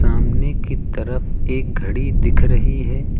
सामने की तरफ एक घड़ी दिख रही है।